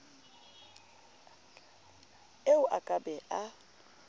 eo a ka be a